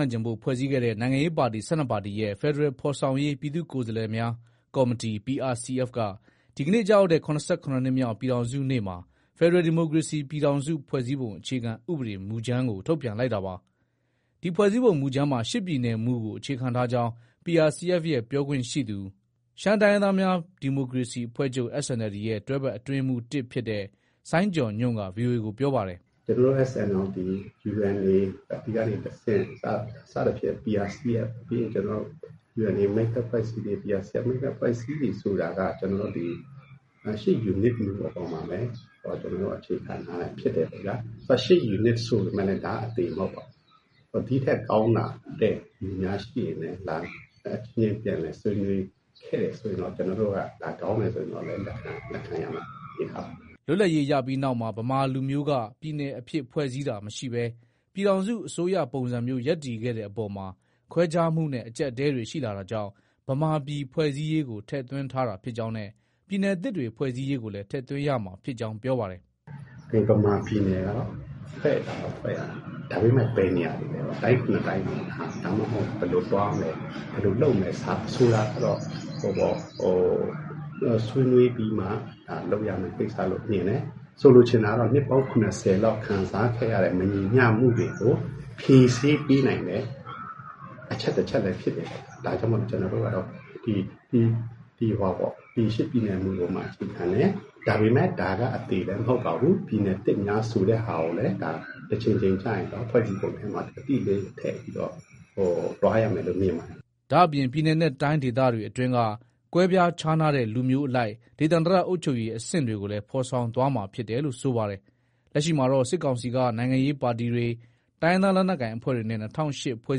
န့်ကျင်ဖို့ ဖွဲ့စည်းခဲ့တဲ့ နိုင်ငံရေးပါတီ ၁၂ပါတီရဲ့ ဖက်ဒရယ်ဖော်ဆောင်ရေး ပြည်သူ့ကိုယ်စားလှယ်များ ကော်မတီ PRCF က ဒီကနေ့ကျရောက်တဲ့ ၇၇နှစ်မြောက်ပြည်ထောင်စုနေ့မှာ ဖက်ဒရယ် ဒီမိုကရေစီ ပြည်ထောင်စု ဖွဲ့စည်းပုံ အခြေခံဥပဒေ မူကြမ်းကို ထုတ်ပြန်လိုက်တာပါ။ ဒီဖွဲ့စည်းပုံမူကြမ်းမှာ ၈ပြည်နယ်မူကို အခြေခံထားကြောင်းကို PRCF ရဲ့ ပြောရေးဆိုခွင့်ရှိသူ ရှမ်းတိုင်းရင်းသားများ ဒီမိုကရေစီအဖွဲ့ချုပ်ပါတီ SNLDရဲ့ တွဲဘက်အထွေထွေအတွင်းရေးမှူး ၁ ဖြစ်တဲ့ စိုင်းကျော်ညွန့်က VOA ကို ပြောပါတယ်။ “ ကျနော်တို့ SNLD ၊ UNA အဲဒီကနေ တဆင့် စသည့်ဖြင့် PRCF ၊ ပြီးရင်ကျနော်တို့ UNA မိတ်ဖက်အဖွဲ့အစည်းတွေ၊ PRCF မိတ်ဖက်အဖွဲ့အစည်းတွေဆိုတာက ကျနော်တို့ ၈ယူနစ်မူအပေါ်မှာပဲ အခြေခံ ထားတာဖြစ်တယ်။ ၈ယူနစ်ဆိုပေမဲ့လည်း ဒါက အသေမဟုတ်ပါဘူး။ ဒီထက်ကောင်းတာများ ရှိရင်လည်း ဒါ ပြန်လည်ဆွေးနွေးခဲ့တယ်ဆိုရင်တော့ ကျနော်တို့ ကောင်းတယ်ဆိုရင် တော့ လက်ခံရမယ့် အနေအထားပါ။ ” လွတ်လပ်ရေးရပြီးနောက်မှာ ဗမာလူမျိုးက ပြည်နယ်အဖြစ် ဖွဲ့စည်းတာမရှိဘဲ ပြည်ထောင်စုအစိုးရပုံစံမျိုး ရပ်တည်ခဲ့တဲ့အပေါ်မှာ ခွဲခြားမှုနဲ့ အကျပ်အတည်းတွေ ရှိလာတာကြောင့် ဗမာပြည်ဖွဲ့စည်းရေးကို ထည့်သွားထားတာဖြစ်ကြောင်း နဲ့ ပြည်နယ်သစ်တွေ ဖွဲ့စည်းရေးကိုလည်း ထည့်သွင်းရမှာဖြစ်ကြောင်း ပြောပါတယ်။ “ ဗမာပြည်နယ်ကတော့ ဖွဲ့တာတော့ ဖွဲ့ရမယ်။ ဒါပေမဲ့ ဘယ်နေရာတွေလည်း တိုင်း ၇ တိုင်းလား။ ဒါမှမဟုတ် ဘယ်လိုသွားမလဲ။ ဘယ်လိုလုပ်မလဲဆိုတာကတော့ ဆွေးနွေးပြီးမှ လုပ်ရမယ့် ကိစ္စလို့ မြင်တယ်။ ဆိုလိုချင်တာက နှစ်ပေါင်း ၇၀လောက် ခံစားခဲ့ရတဲ့ မညီမျှမှုတွေကို ဖြေရှင်းပေးနိုင်မယ့် အချက်တချက်လည်းဖြစ်တယ်။ ဒါကြောင့်မို့ ကျနော်တို့ကတော့ ဒီ ၈ပြည်နယ်မူပေါ်မှာ အခြေခံတယ်။ ဒါပေမဲ့ ဒါက အသေလည်း မဟုတ်ပါဘူး။ ပြည်နယ်သစ်များဆိုတဲ့ဟာကိုလည်း တချိန်ချိန်ကျရင်တော့ ဖွဲ့စည်းပုံထဲမှာ အတည်အလင်းထည့်ပြီးတော့ သွားရမယ်လို့ မြင်ပါတယ်။” ဒါ့အပြင် ပြည်နယ်နဲ့ တိုင်းဒေသတွေအတွင်းက ကွဲပြားခြားနားတဲ့ လူမျိုးအလိုက် ဒေသန္တရအုပ်ချုပ်ရေး အဆင့်တွေကိုလည်း ဖော်ဆောင်သွားမှာဖြစ်တယ်လို့ ဆိုပါတယ်။ လက်ရှိမှာတော့ စစ်ကောင်စီက နိုင်ငံရေးပါတီတွေ၊ တိုင်းရင်းသားလက်နက်ကိုင်အဖွဲ့တွေနဲ့ ၂၀၀၈ ဖွဲ့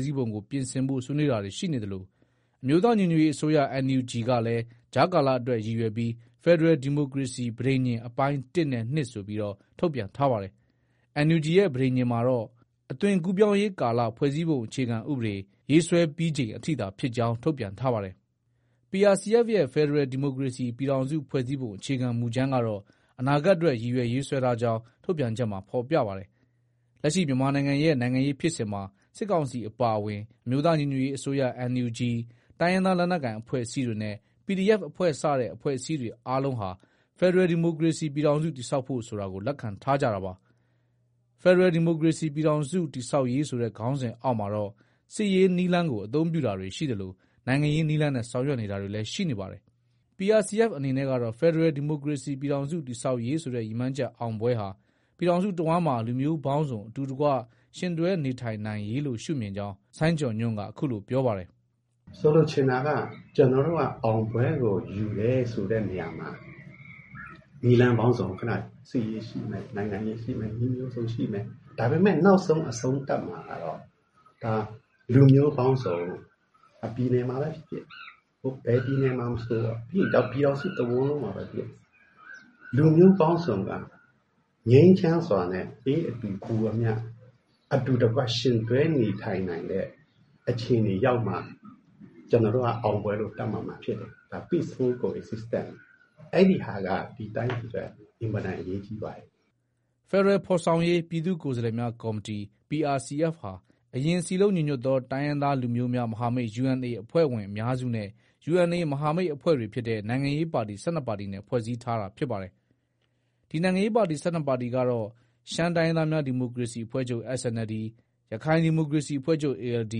စည်းပုံကို ပြင်ဆင်ဖို့ ဆွေးနွေးတာတွေ ရှိနေသလို အမျိုးသားညီညွတ်ရေးအစိုးရ NUG ကလည်း ကြားကာလအတွက် ရည်ရွယ်ပြီး ဖက်ဒရယ်ဒီမိုကရေစီ ပဋိညာဉ် အပိုင်း ၁နဲ့ ၂ဆိုပြီး ထုတ်ပြန်ထားပါတယ်။ NUG ရဲ့ ပဋိညာဉ်ကတော့ အသွင်ကူးပြောင်းရေးကာလ ဖွဲ့စည်းပုံအခြေခံ ဥပဒေရေးဆွဲပြီးချိန်အထိသာ ဖြစ်ကြောင်း ထုတ်ပြန်ထားပါတယ်။ PRCF ရဲ့ ဖက်ဒရယ် ဒီမိုကရေစီ ပြည်ထောင်စု ဖွဲ့စည်းပုံ အခြေခံဥပဒေ မူကြမ်းကတော့ အနာဂတ်အတွက် ရည်ရွယ် ရေးဆွဲထားကြောင်း ထုတ်ပြန်ချက်မှာ ဖော်ပြပါတယ်။ လက်ရှိ မြန်မာနိုင်ငံရဲ့ နိုင်ငံရေးဖြစ်စဉ်မှာ စစ်ကောင်စီအပါအဝင် အမျိုးသားညီညွတ်ရေးအစိုးရ NUG ၊ တိုင်းရင်းသား လက်နက်ကိုင်အဖွဲ့အစည်းတွေနဲ့ PDF အဖွဲ့ စတဲ့ အဖွဲ့အစည်းတွေ အားလုံးဟာ ဖက်ဒရယ်ဒီမိုကရေစီ ပြည်ထောင်စု တည်ဆောက်ဖို့ဆိုတာကို လက်ခံထားကြတာပါ။ ဖက်ဒရယ် ဒီမိုကရေစီပြည်ထောင်စုတည်ဆောက်ရေးဆိုတဲ့ ခေါင်းစဉ်အောက်မှာတော့ စစ်ရေးနည်းလမ်းကို အသုံးပြုတာတွေ ရှိသလို နိုင်ငံရေးနည်းလမ်းနဲ့ ဆောင်ရွက်တာတွေလည်း ရှိနေပါတယ်။ PRCF အနေနဲ့ကတော့ ဖက်ဒရယ် ဒီမိုကရေစီပြည်ထောင်စုတည်ဆောက်ရေးဆိုတဲ့ ရည်မှန်းချက်ရဲ့ အောင်ပွဲဟာ ပြည်ထောင်စုတဝှမ်းမှာ လူမျိုးပေါင်းစုံအတူတကွ ယှဉ်တွဲနေထိုင်နိုင်ရေးလို့ ရှုမြင်ကြောင်း စိုင်းကျော်ညွန့်က အခုလို ပြောပါတယ်။ “ ဆိုလိုချင်တာက ကျနော်တို့က အောင်ပွဲကို ယူတယ်ဆိုတဲ့နေရာမှာ နည်းလမ်းပေါင်းစုံ ခုနက စစ်ရေးရှိမယ်။ နိုင်ငံရေးရှိမယ်။ နည်းမျိုးစုံရှိမယ်။ ဒါပေမဲ့ နောက်ဆုံးအဆုံးသတ်မှာကတော့ လူမျိုးပေါင်းစုံ၊ ပြည်နယ်မှာပဲဖြစ်ဖြစ်။ ဘယ်ပြည်နယ်မှာ မဆိုပေါ့။ ပြည်ထောင်စုတဝှမ်းလုံးမှာပဲဖြစ်ဖြစ် ၊ လူမျိုးပေါင်းစုံက ငြိမ်းချမ်းစွာနဲ့ အေးအတူ ပူအမျှ အတူတကွ ယှဉ်တွဲ နေထိုင်နိုင်တဲ့ အခြေအနေရောက်မှ ကျနော်တို့က အောင်ပွဲလို့ သတ်မှတ်မှာဖြစ်တယ်။ ဒါ Peaceful Co-existence အဲဒီဟာက ဒီတိုင်းပြည်အတွက် အင်မတန် အရေးကြီးပါတယ်။ ” ဖက်ဒရယ်ဖော်ဆောင်ရေး ပြည်သူ့ကိုယ်စားလှယ်များ ကော်မတီ PRCF ဟာ အရင် စည်းလုံးညီညွတ်သော တိုင်းရင်းသားလူမျိုးများ မဟာမိတ် UNA အဖွဲ့ဝင်အများစုနဲ့ UNA မဟာမိတ်အဖွဲ့တွေ ဖြစ်တဲ့ နိုင်ငံရေးပါတီ ၁၂ပါတီနဲ့ ဖွဲ့စည်းထားတာဖြစ်ပါတယ်။ ဒီနိုင်ငံရေးပါတီ ၁၂ပါတီကတော့ ရှမ်းတိုင်းရင်းသားများ ဒီမိုကရေစီအဖွဲ့ချုပ် SNLD ၊ ရခိုင်ဒီမိုကရေစီအဖွဲ့ချုပ် ALD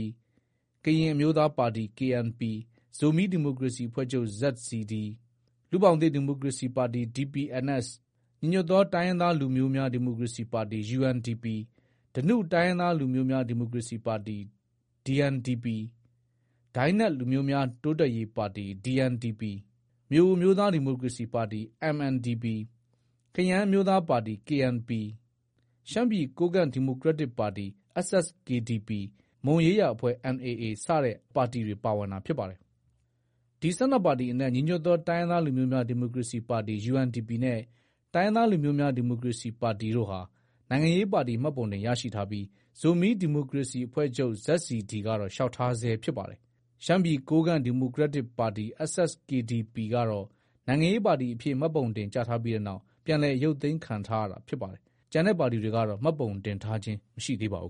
၊ ကရင်အမျိုးသားပါတီ KNP၊ ဇိုမီးဒီမိုကရေစီအဖွဲ့ချုပ် ZCD ၊ လူ့ဘောင်သစ် ဒီမိုကရက်တစ်ပါတီ DPNS ၊ ညီညွတ်သော တိုင်းရင်းသားလူမျိုးများ ဒီမိုကရေစီပါတီ UNDP ၊ ဓနု တိုင်းရင်းသားလူမျိုးများ ဒီမိုကရေစီပါတီ DNDP ၊ ဒိုင်းနက်လူမျိုးများ တိုးတက်ရေးပါတီ DNDP ၊ မြို အမျိုးသား ဒီမိုကရေစီပါတီ MNDP ၊ ကယန်းအမျိုးသားပါတီ KNP ၊ ရှမ်းပြည် ကိုးကန့်ဒီမိုကရက်တစ်ပါတီ SSKDP ၊ မွန်ရေးရာ အဖွဲ့ MAA စတဲ့ ပါတီတွေ ပါဝင်တာဖြစ်ပါတယ်။ ဒီ ၁၂ ပါတီအနက်မှာ ညီညွတ်သော တိုင်းရင်းသားလူမျိုးများ ဒီမိုကရေစီပါတီ UNDP နဲ့ တိုင်းရင်းသားလူမျိုးများ ဒီမိုကရေစီပါတီ နိုင်ငံရေးပါတီ မှတ်ပုံတင် ရရှိထားပြီး ဇိုမီးဒီမိုကရေစီအဖွဲ့ချုပ် ZCD ကတော့ လျှောက်ထားဆဲဖြစ်ပါတယ်။ ရှမ်းပြည် ကိုးကန့်ဒီမိုကရက်တစ်ပါတီ SSKDPကတော့ နိုင်ငံရေးပါတီအဖြစ် မှတ်ပုံတင်ကျထားပြီးနောက် ပြန်လည် ရုတ်သိမ်းခံထားရတာဖြစ်ပါတယ်။ ကျန်ပါတီတွေကတော့ မှတ်ပုံတင်ထားခြင်း မရှိသေးပါဘူး